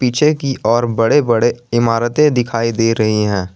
पीछे की ओर बड़े बड़े इमारतें दिखाई दे रही हैं।